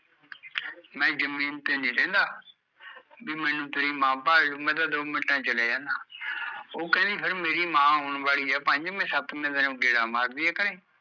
ਮੈਂ ਜ਼ਮੀਨ ਤੇ ਨੀ ਰਹਿੰਦਾ, ਵੀ ਮੈਂਨੂੰ ਤੇਰੀ ਮਾਂ ਭਾਲ ਲਊ ਮੈਂ ਤਾਂ ਦੋ ਮਿੰਟਾਂ ਚ ਚਲਿਆ ਜਾਂਦਾ ਉਹ ਕਹਿੰਦੀ ਫਿਰ ਮੇਰੀ ਮਾਂ ਆਉਣ ਵਾਲੀ ਐ ਪੰਜਵੇ ਸੱਤਵੇ ਦਿਨ ਓਹ ਗੇੜਾ ਮਾਰਦੀ ਐ ਘਰੇ